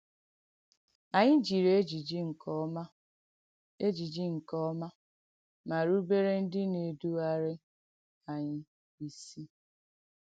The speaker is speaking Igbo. Ànyị̀ jirì ejìjì nkeọ̀mà, ejìjì nkeọ̀mà, mà rùbèrè ndí na-èdùgharì ànyị̀ isì.